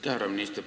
Härra minister!